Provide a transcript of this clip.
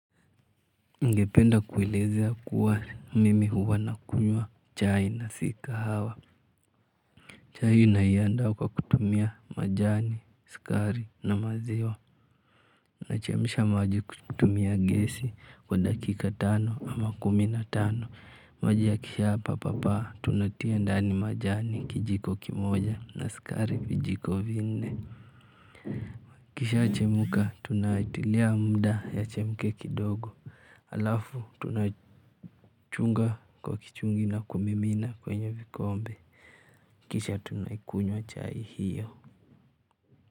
Ningependa kuelezea kuwa mimi huwa nakunywa chai na si kahawa chai naiandaa kwa kutumia majani, sukari na maziwa nachemsha maji kutumia gesi kwa dakika tano ama kumi na tano maji yakisha pa pa pa tunatia ndani majani kijiko kimoja na sukari vijiko vinne ikishachemka tunatilia muda yachemke kidogo alafu tunachunga kwa kichungi na kumimina kwenye vikombe kisha tunaikunywa chai hiyo.